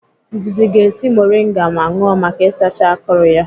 Ndidi ga-esi moringa ma ṅụọ maka isacha akụrụ ya.